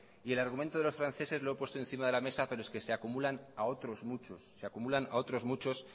y el argumento de los franceses lo he puesto encima de la mesa pero es que se acumulan a otros muchos